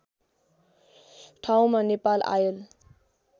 ठाउँमा नेपाल आयल